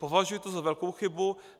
Považuji to za velkou chybu.